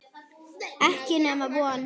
Ekki nema von.